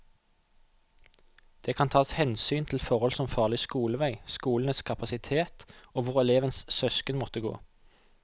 Det kan tas hensyn til forhold som farlig skolevei, skolenes kapasitet og hvor elevens søsken måtte gå.